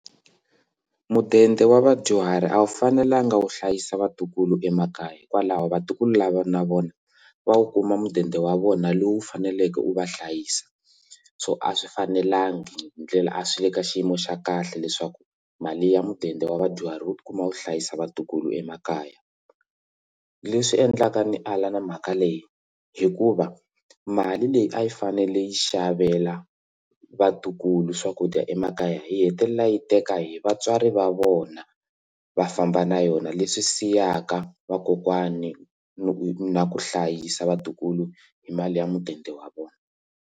Mudende wa vadyuhari a wu fanelanga wu hlayisa vatukulu emakaya hikwalaho vatukulu lava na vona va wu kuma mudende wa vona lowu faneleke u va hlayisa so a swi fanelangi hi ndlela a swi le ka xiyimo xa kahle leswaku mali ya mudende wa vadyuhari wu tikuma wu hlayisa vatukulu emakaya leswi endlaka ndzi ala na mhaka leyi hikuva mali leyi a yi fanele yi xavela vatukulu swakudya emakaya hi hetelela yi teka hi vatswari va vona va famba na yona leswi siyaka vakokwani na ku hlayisa vatukulu hi mali ya mudende wa vona.